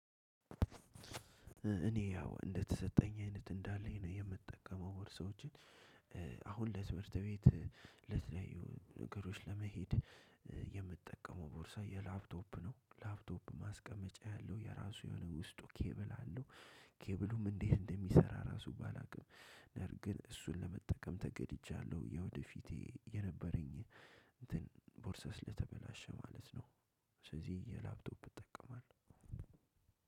እኔ ያው እንደተሰጠኝ አይነት እንዳለኝ ነው የምጠቀመው ወር ሰዎችን። አሁን ለትምህርት ቤት ለተለያዩ ነገሮች ለመሄድ የምጠቀመው ቦርሳ የላፕቶፕ ነው። ላፕቶፕ ማስቀመጫ ያለው የራሱ የሆነ ውስጡ ኬብል አለው። ኬብሉም እንዴት እንደሚሰራ ራሱ ባላውቅም ነር ግን እሱን ለመጠቀም ተገድጃለሁ የወደፊቴ የነበረኝ እንትን ለተበላሸ ማለት ነው። ስለዚህ የላፕቶፕ እጠቀማለሁ።